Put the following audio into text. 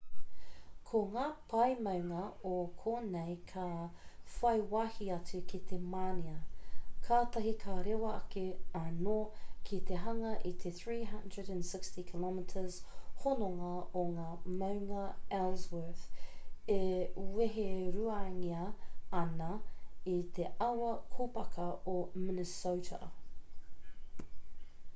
ko ngā pae maunga o konei ka whai wāhi atu ki te mānia katahi ka rewa ake anō ki te hanga i te 360 km hononga o ngā māunga ellsworth e weheruangia ana e te awa kōpaka o minnesota